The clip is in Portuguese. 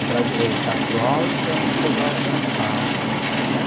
O brasi o Castro Alves era na Teodoro Sampaio, hm, né?